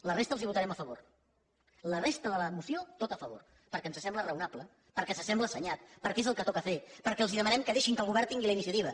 la resta els la votarem a favor la resta de la moció tot a favor perquè ens sembla raonable perquè ens sembla assenyat perquè és el que toca fer perquè els demanem que deixin que el govern tingui la iniciativa